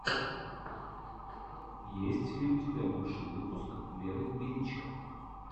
есть ли у тебя лучший выпуск веры величко